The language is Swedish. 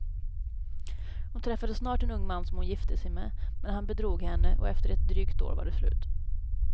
Hon träffade snart en ung man som hon gifte sig med, men han bedrog henne och efter ett drygt år var det slut.